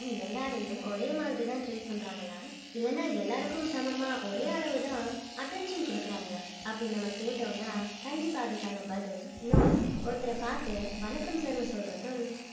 எல்லாரையும் ஒரே மாதிரி தான் treat பண்றாங்களா இல்லைன்னா எல்லாருக்கும் சமமா ஒரே அளவு தான் attention கொடுக்குறாங்களா அப்படி நம்ம கேட்டோம்னா கண்டிப்பா அதுக்கான பதில் no தான் ஒருத்தரை பார்த்து வணக்கம் sir னு சொல்றதும்